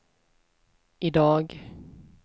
idag